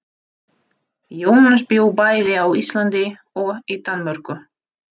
Jónas bjó bæði á Íslandi og í Danmörku.